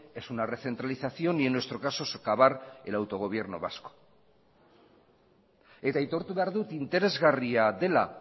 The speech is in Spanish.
es una recentralización y en nuestro caso socavar el autogobierno vasco eta aitortu behar dut interesgarria dela